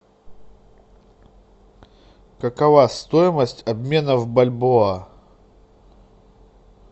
какова стоимость обмена в бальбоа